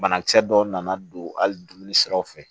Banakisɛ dɔw nana don hali dumuni siraw fɛ